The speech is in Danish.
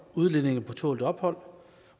udlændinge på tålt ophold